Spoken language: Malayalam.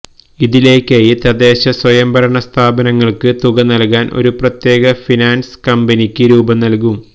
ഇതിലേയ്ക്കായി തദ്ദേശസ്വയം ഭരണ സ്ഥാപനങ്ങള്ക്ക് തുക നല്കാന് ഒരു പ്രത്യേക ഫിനാന്സ് കമ്പനിക്ക് രൂപം നല്കും